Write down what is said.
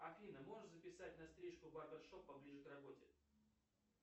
афина можешь записать на стрижку в барбершоп поближе к работе